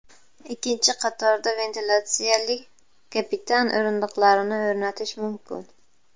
Ikkinchi qatorda ventilyatsiyali kapitan o‘rindiqlarini o‘rnatish mumkin.